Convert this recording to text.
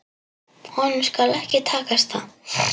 Honum skal ekki takast það!